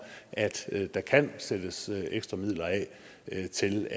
at der kan sættes ekstra midler af til